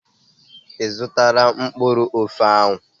I zụtala mkpụrụ ofe ahụ?